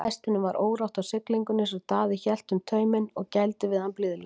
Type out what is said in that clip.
Hestinum var órótt á siglingunni svo Daði hélt um tauminn og gældi við hann blíðlega.